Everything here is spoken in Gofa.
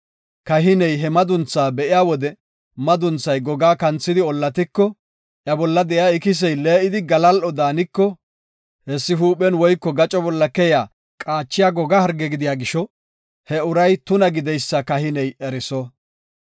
kahiney he madunthaa be7iya wode madunthay gogaa kanthidi ollatiko iya bolla de7iya ikisey lee7idi galal7o daaniko, hessi huuphen woyko gaco bolla keyiya qaachiya goga harge gidiya gisho, he uray tuna gideysa kahiney eriso.